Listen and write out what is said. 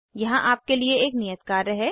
यहाँ आपके लिए एक नियत कार्य है